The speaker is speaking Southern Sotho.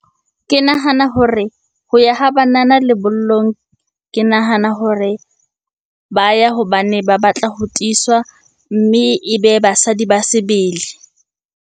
Ke nahana hore ho ya ha banana lebollong, ke nahana hore ba ya hobane ba batla ho tiiswa mme ebe basadi ba sebele.